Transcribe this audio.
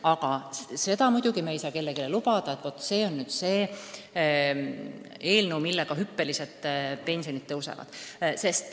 Aga seda me muidugi ei saa kellelegi lubada, et vaat see on nüüd eelnõu, mille kohaselt pensionid hüppeliselt tõusevad.